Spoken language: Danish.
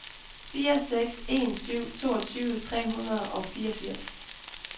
fire seks en syv toogtyve tre hundrede og fireogfirs